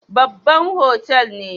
Babban otal ne?